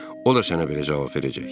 O da sənə belə cavab verəcək.